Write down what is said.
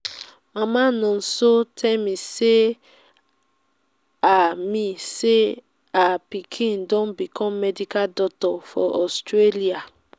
mama nonso tell me say her me say her pikin don become medical doctor for australia